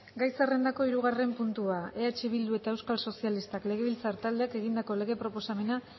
gai zerrendako hirugarren puntua eh bildu eta euskal sozialistak legebiltzar taldeek egindako lege proposamena